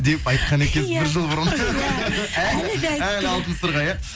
деп айтқан екенсіз бір жыл бұрын әлі алтын сырға иә